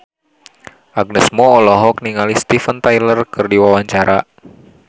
Agnes Mo olohok ningali Steven Tyler keur diwawancara